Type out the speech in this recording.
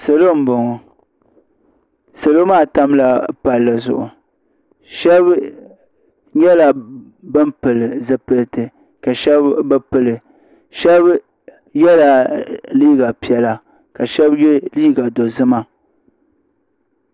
Salo n bɔŋɔ salo maa tamila palli zuɣu shɛba nyɛla bani pili zupiliti ka shɛba bi pili shɛba yela liiga sabila ka shɛba ye liiga dozima.